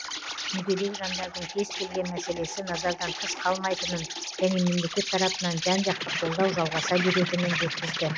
мүгедек жандардың кез келген мәселесі назардан тыс қалмайтынын және мемлекет тарапынан жан жақты қолдау жалғаса беретінін жеткізді